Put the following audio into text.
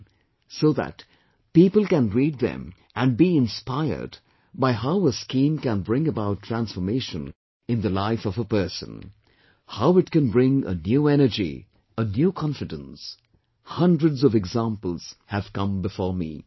in, so that people can read them and be inspired by how a scheme can bring about transformation in the life of a person, how it can bring a new energy, a new confidence hundreds of examples have come before me